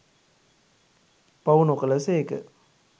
පව් නොකළ සේක.